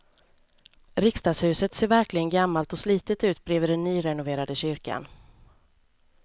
Riksdagshuset ser verkligen gammalt och slitet ut bredvid den nyrenoverade kyrkan.